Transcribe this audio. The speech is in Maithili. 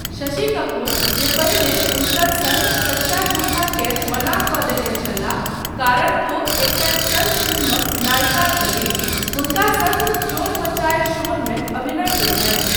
शशि कपूर, जे पहिने हुनकर सङ्ग सच्चा झूठा केँ मना कऽ देने छलाह कारण ओ एकटा स्टन्ट फिल्मक नायिका छलीह, हुनका सङ्ग चोर मचाये शोरमे अभिनय कयलनि।